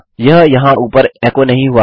यह यहाँ ऊपर एको नहीं हुआ है